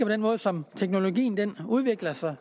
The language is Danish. den måde som teknologien udvikler sig